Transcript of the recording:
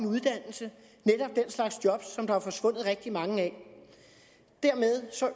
uddannelse netop den slags job som der er forsvundet rigtig mange af dermed